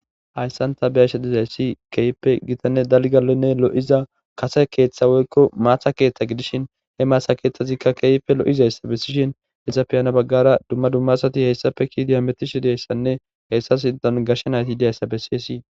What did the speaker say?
hayssanta biyashedizayssi keeyippe gitanne dalgalenne lo7iza kase keeththa woykko maata keeththa gidishin he maasa keeththazikka keeype lo7izayssa bessishin hesafiyana baggara dumma dummasati heyssafe kiidi hametishi deayssanne heyssa idan gashe nayti hidiyayssa bessi hessii